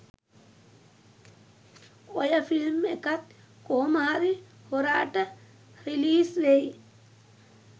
ඔය ෆිල්ම් එකත් කොහොමහරි හොරාට රිලීස් වෙයි.